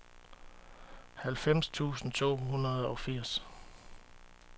halvfems tusind to hundrede og firs